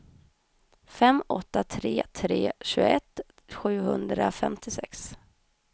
fem åtta tre tre tjugoett sjuhundrafemtiosex